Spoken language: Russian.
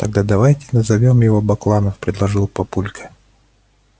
тогда давайте назовём его бакланов предложил папулька